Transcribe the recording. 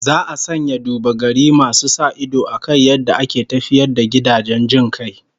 Za a sanya duba-gari masu sa ido akan yadda ake tafiyar da gidajen jin kai